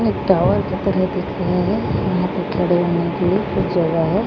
Tower की तरह दिख रहे है यहां पे खड़े होने के लिए कुछ जगह है।